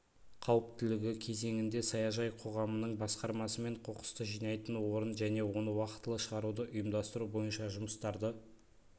қауіптілігі кезеңінде саяжай қоғамының басқармасымен қоқысты жинайтын орын және оны уақытылы шығаруды ұйымдастыру бойынша жұмыстарды